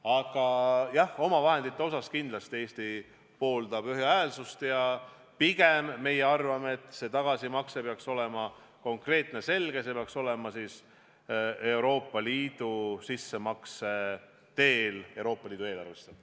Aga jah, omavahendite osas pooldab Eesti kindlasti ühehäälsust ja pigem arvame, et tagasimakse peaks olema konkreetne ja selge, see peaks toimuma Euroopa Liidu sissemakse teel Euroopa Liidu eelarvesse.